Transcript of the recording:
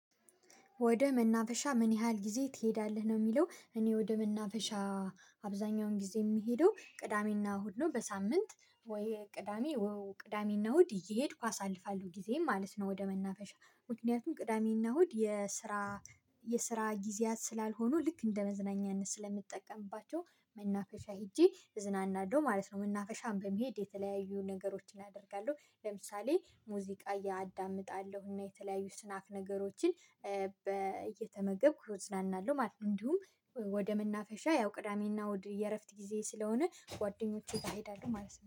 ወደ መናፈሻ ምን? ያህል ጊዜ ትሄዳለህ ነው የሚለው እኔ ወደ መናፈሻ አብዛኛውን ጊዜ የምሄደው ቅዳሜና እሁድ ነው። በሳምንት ወይ ቅዳሜ ወይ ቅዳሜና እሁድ እየሄድኩ አሳልፋለሁ ጊዜ ማለት ነው። ወደ መናፈሻ ምክንያቱም ቅዳሜና እሁድ የስራ የስራ ጊዜያት ስላልሆኑ ልክ እንደ መዝናኛነት ስለምጠቀምባቸው መናፈሻ ሄጄ እዝናናለሁ ማለት ነው። መናፈሻም በመሄድ የተለያዩ ነገሮችን አደርጋለሁ ለምሳሌ ሙዚቃ እያዳመጣለሁና የተለያዩ ስናፍ ነገሮችን። እየተመገብኩ እዝናናለሁ ማለት። እንዲሁም ወደ መናፈሻ ያው ቅዳሜና ወደ የእረፍት ጊዜ ስለሆነ ጓደኞቼ ጋር እሄዳለሁ ማለት ነው